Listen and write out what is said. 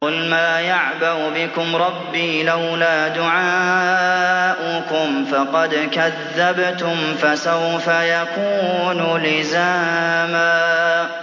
قُلْ مَا يَعْبَأُ بِكُمْ رَبِّي لَوْلَا دُعَاؤُكُمْ ۖ فَقَدْ كَذَّبْتُمْ فَسَوْفَ يَكُونُ لِزَامًا